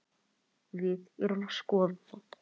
Við erum að skoða það.